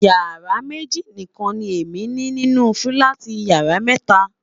yàrá méjì nikan ni Emi ni nínú filati yàrá méta